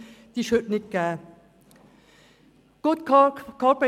Diese ist heute nicht gegeben.